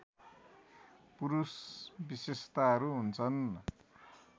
पुरुष विशेषताहरू हुन्छन्